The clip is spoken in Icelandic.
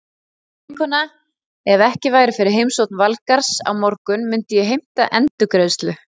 Veistu vinkona, ef ekki væri fyrir heimsókn Valgarðs á morgun myndi ég heimta endurgreiðslu.